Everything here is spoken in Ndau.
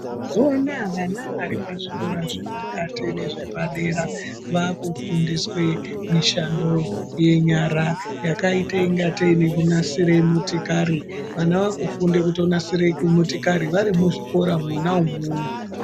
Vana varipazvikora zvepakati nezvepadera vakufundiswa mishando yenyara yakaite sekunasire motokari. Vana vakutofunde kunasira motokari varimuzvikora mwona umwomwo.